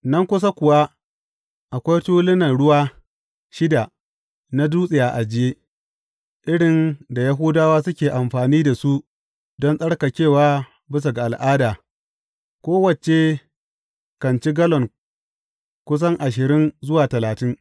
Nan kusa kuwa akwai tulunan ruwa shida na dutse a ajiye, irin da Yahudawa suke amfani da su don tsarkakewa bisa ga al’ada, kowace kan ci gallon kusan ashirin zuwa talatin.